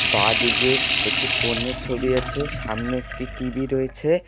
বাঁদিকে একটি ফোনের ছবি আছে সামনে একটি টি_ভি রয়েছে।